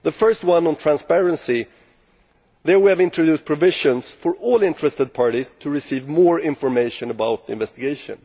Firstly on transparency we have introduced provisions for all interested parties to receive more information about the investigation.